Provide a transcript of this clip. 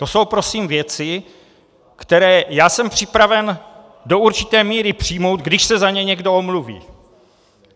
To jsou prosím věci, které já jsem připraven do určité míry přijmout, když se za ně někdo omluví.